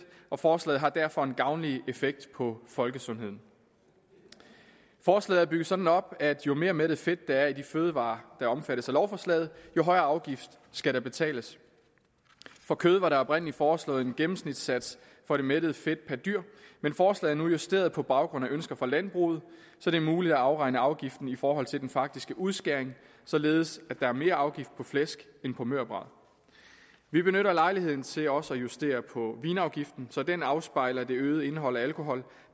og forslaget har derfor en gavnlig effekt på folkesundheden forslaget er bygget sådan op at jo mere mættet fedt der er i de fødevarer der omfattes af lovforslaget jo højere afgift skal der betales for kød var der oprindeligt foreslået en gennemsnitlig sats for det mættede fedt per dyr men forslaget er nu justeret på baggrund af ønsker fra landbruget så det er muligt at afregne afgiften i forhold til den faktiske udskæring således at der er mere afgift på flæsk end på mørbrad vi benytter lejligheden til også at justere på vinafgiften så den afspejler det øgede indhold af alkohol